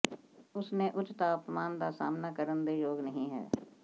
ਉਸ ਨੇ ਉੱਚ ਤਾਪਮਾਨ ਦਾ ਸਾਮ੍ਹਣਾ ਕਰਨ ਦੇ ਯੋਗ ਨਹੀ ਹੈ